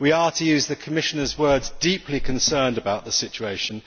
We are, to use the Commissioner's words, deeply concerned about the situation.